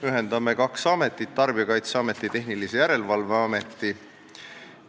Ühendame kaks ametit: Tarbijakaitseameti ja Tehnilise Järelevalve Ameti.